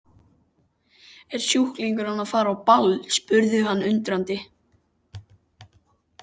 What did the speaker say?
Er sjúklingurinn að fara á ball? spurði hann undrandi.